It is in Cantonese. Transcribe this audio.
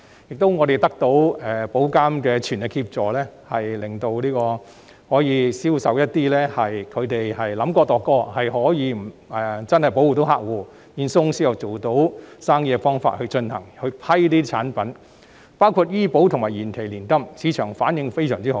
此外，我們得到保監局的全力協助，批准一些經過深思熟慮、並透過既能保護客戶而保險公司亦能做到生意的方法進行銷售的產品，包括醫保計劃及延期年金等，市場的反應非常好。